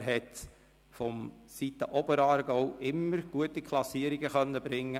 Es sind ihm für den Oberaargau immer gute Klassierungen gelungen.